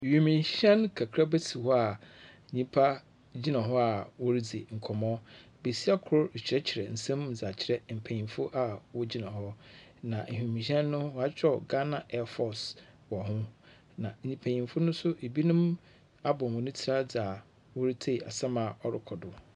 Wiemhyɛn kakraba si hɔ a nyipa gyina ho a woridzi nkɔmbɔ. Besia kor rekyerɛkyerɛ nsɛm mu dze akyerɛ mpanyimfo a wogyina hɔ, na wiemhyɛn no wɔakyerɛw Ghana airforce wɔ ho, na mpanyimfo no nso ebinom abɔ hɔn tsir adze a woritsie asɛm a ɔrokɔ do no.